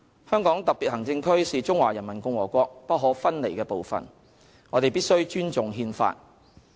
香港特別行政區是中華人民共和國不可分離的部分，我們必須尊重《憲法》。